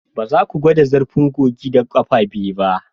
Ba za ku gwada zurfin kogin da ƙafa biyu ba